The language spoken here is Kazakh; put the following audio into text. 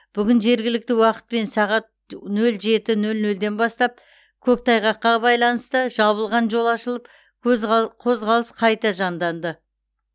бүгін жергілікті уақытпен сағат нөл жеті нөл нөлден бастап көктайғаққа байланысты жабылған жол ашылып қозғалыс қайта жанданды